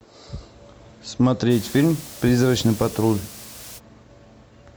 смотреть фильм призрачный патруль